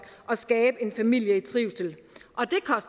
og skabe en familie i trivsel